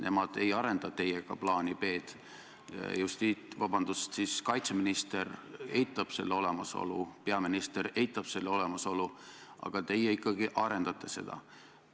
Nemad ei arenda teiega plaani B. Kaitseminister eitab selle olemasolu, peaminister eitab selle olemasolu, aga teie ikkagi arendate seda.